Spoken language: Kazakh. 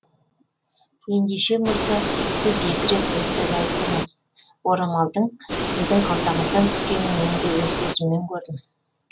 ендеше мырза сіз екі рет өтірік айттыңыз орамалдың сіздің қалтаңыздан түскенін мен өз көзіммен көрдім